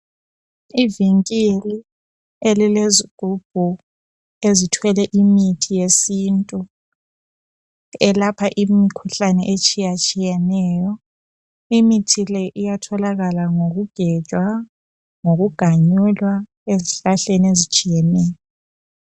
Ivinkili elilezigubhu ezithwele imithi yesintu elapha imkhuhlane etshiyatshiyeneyo imithi le iyatholakala ngokugejwa lokuganyulwa ezihlahleni ezihlukeneyo